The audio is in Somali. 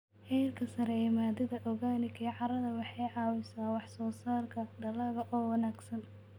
Heerka sare ee maadada organic ee carrada waxay caawisaa wax-soo-saarka dalagga oo wanaagsan.